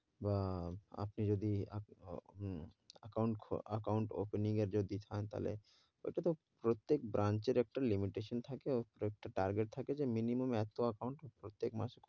বা, আপনি যদি অ~ হম account account opening এর যদি পান তাহলে, ওটা তো প্রত্যেক branch এর একটা limitation থাকে, ওটা একটা target থাকে যে minimum এতো account প্রত্যেক মাসে